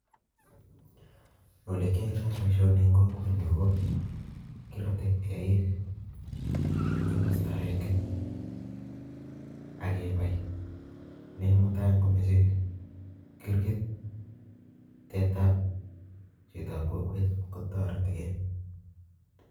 Ole kiyoitoi boishoni en kokwenyun KO kirote eik, en komosto agenge ak kebai. Ne mutai kirgit tetab kokwet kotoretii gee